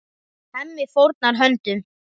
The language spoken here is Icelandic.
Hemmi fórnar höndum.